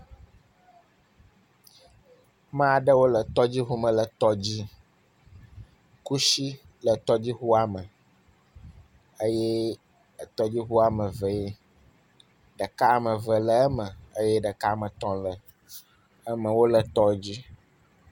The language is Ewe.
…mea ɖewo le tɔdziŋu me le tɔ dzi, kutsi le tɔdziŋua me eye tɔdziŋua ame eve yee, ɖeka ame eve le eme eye ɖeka ame etɔ̃ le eme wole tɔ dzi.